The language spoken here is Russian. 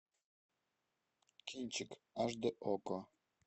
кинчик аш д окко